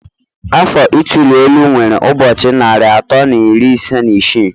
Afọ ituli elu nwere ụbọchị narị atọ na iri ise na isii